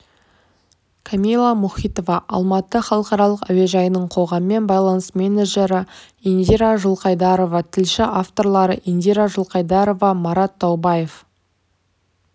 камила мұхитова алматы халықаралық әуежайының қоғаммен байланыс менеджері индира жылқайдарова тілші авторлары индира жылқайдарова марат таубаев